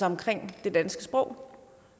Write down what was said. omkring det danske sprog